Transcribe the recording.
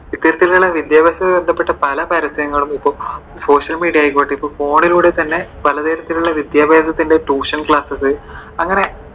വിദ്യാഭ്യാസമായി ബന്ധപ്പെട്ട പല പരസ്യങ്ങളും ഇപ്പോൾ social media ആയിക്കോട്ടെ ഇപ്പോ phone ലൂടെ തന്നെ പലതരത്തിലുള്ള വിദ്യാഭ്യാസത്തിന്റെ Tuition class ണ്ട്. അങ്ങനെ